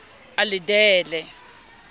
a le d e le